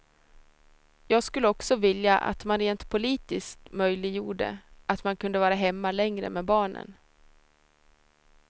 Jag skulle också vilja att man rent politiskt möjliggjorde att man kunde vara hemma längre med barnen.